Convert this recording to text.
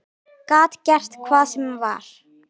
Gat gert hvað sem var.